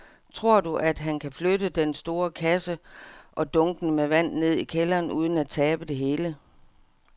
Tror du, at han kan flytte den store kasse og dunkene med vand ned i kælderen uden at tabe det hele?